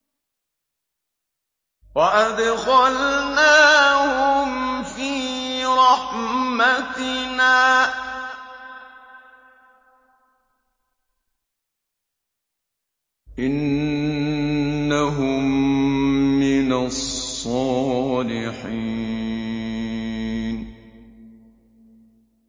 وَأَدْخَلْنَاهُمْ فِي رَحْمَتِنَا ۖ إِنَّهُم مِّنَ الصَّالِحِينَ